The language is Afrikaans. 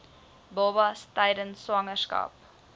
babas tydens swangerskap